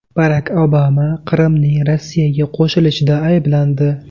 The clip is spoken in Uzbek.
Barak Obama Qrimning Rossiyaga qo‘shilishida ayblandi.